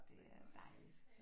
Det er jo dejligt